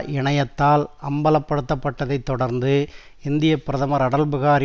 இணயத்தால் அம்பலப்படுத்தப் பட்டதைத் தொடர்ந்து இந்திய பிரதமர் அடல்பிகாரி